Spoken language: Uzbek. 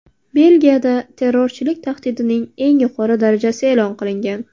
Belgiyada terrorchilik tahdidining eng yuqori darajasi e’lon qilingan.